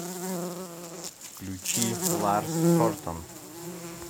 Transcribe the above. включи ларс хортон